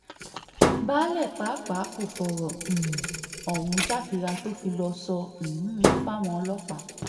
baálé pàápàá kò fọ̀rọ̀ um ohun jàfírà tó fi lọ́ọ́ sọ um fáwọn ọlọ́pàá